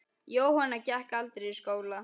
Jóhanna gekk aldrei í skóla.